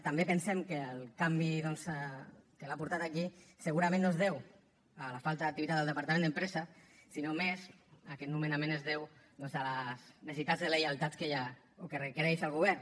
també pensem que el canvi doncs que l’ha portat aquí segurament no es deu a la falta d’activitat del departament d’empresa sinó que més aquest nomenament es deu doncs a les necessitats de lleialtats que hi ha o que requereix el govern